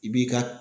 I b'i ka